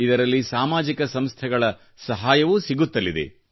ಇದರಲ್ಲಿ ಸಾಮಾಜಿಕ ಸಂಸ್ಥೆಗಳ ಸಹಾಯವೂ ಸಿಗುತ್ತಲಿದೆ